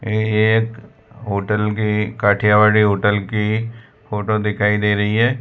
ये एक होटल के काठियावाड़ी होटल की फोटो दिखाई दे रही है।